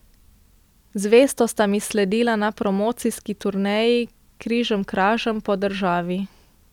Zvesto sta mi sledila na promocijski turneji križemkražem po državi.